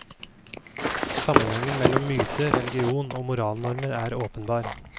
Sammenhengen mellom myte, religion og moralnormer er åpenbar.